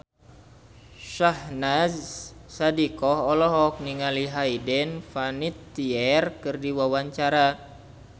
Syahnaz Sadiqah olohok ningali Hayden Panettiere keur diwawancara